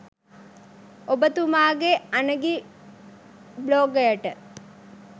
ඔබතුමාගේ අනගි බ්ලොගයට